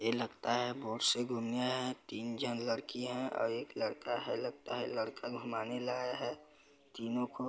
ये लगता है बोट से घुमने आए है तीन जन लड़की है और एक लड़का है लगता है लड़का घूमाने लाया है तीनों को--